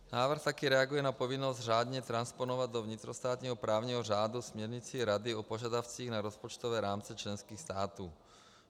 Návrh taky reaguje na povinnost řádně transponovat do vnitrostátního právní řádu směrnici Rady o požadavcích na rozpočtové rámce členských států.